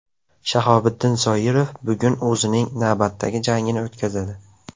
Shahobiddin Zoirov bugun o‘zining navbatdagi jangini o‘tkazadi.